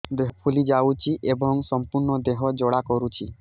ଦେହ ଫୁଲି ଯାଉଛି ଏବଂ ସମ୍ପୂର୍ଣ୍ଣ ଦେହ ଜ୍ୱାଳା କରୁଛି